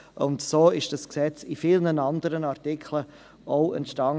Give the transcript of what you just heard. So ist das Gesetz auch in vielen anderen Artikeln entstanden.